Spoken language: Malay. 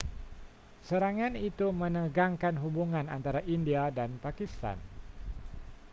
serangan itu menegangkan hubungan antara india dan pakistan